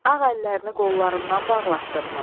Ağ əllərini qollarından bağlatdınmı?